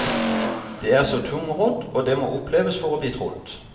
Det er så tungrodd, og det må oppleves for å bli trodd.